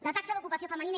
la taxa d’ocupació femenina